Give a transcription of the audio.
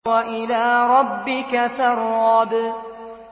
وَإِلَىٰ رَبِّكَ فَارْغَب